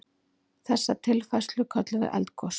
Þessa tilfærslu köllum við eldgos.